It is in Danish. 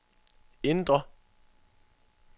indre